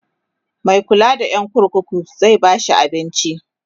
Mai kulla da Yan kurkuku zai bashi abinci?